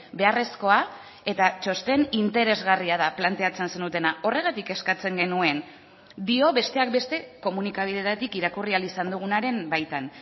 beharrezkoa eta txosten interesgarria da planteatzen zenutena horregatik eskatzen genuen dio besteak beste komunikabideetatik irakurri ahal izan dugunaren baitan